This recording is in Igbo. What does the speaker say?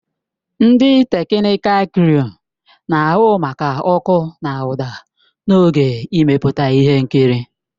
Ndị teknịkal kruu na-ahụ maka ọkụ na ụda n'oge mmepụta ihe nkiri.